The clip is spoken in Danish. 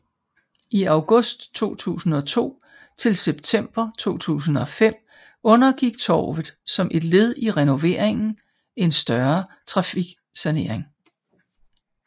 I august 2002 til september 2005 undergik torvet som et led i renoveringen en større trafiksanering